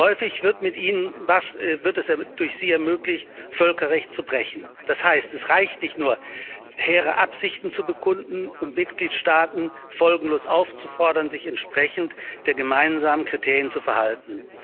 Häufig wird es durch sie ermöglicht, Völkerrecht zu brechen. Das heißt, es reicht nicht nur, hehre Absichten zu bekunden und Mitgliedstaaten folgenlos aufzufordern, sich entsprechend der gemeinsamen Kriterien zu verhalten.